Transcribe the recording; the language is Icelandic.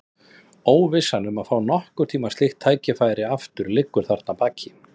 Óvissan um að fá nokkurn tíma slíkt tækifæri aftur liggur þarna að baki.